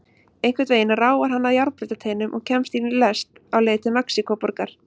Einhvern veginn ráfar hann að járnbrautarteinum og kemst í lest á leið til Mexíkóborgar.